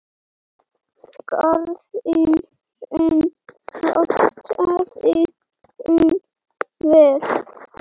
Garðinn sinn ræktaði hún vel.